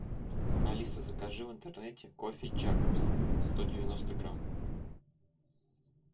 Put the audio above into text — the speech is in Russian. алиса закажи в интернете кофе якобс сто девяносто грамм